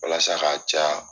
Walasa k'a ca ya.